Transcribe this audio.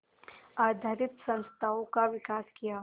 आधारित संस्थाओं का विकास किया